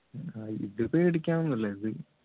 ഇത് പേടിക്കാൻ ഒന്നുമില്ല ഇത്